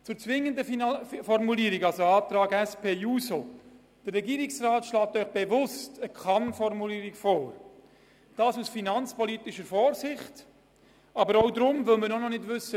Zum Antrag der SP-JUSO-PSA-Fraktion mit der zwingenden Formulierung: Der Regierungsrat schlägt aus finanzpolitischer Vorsicht bewusst eine KannFormulierung vor.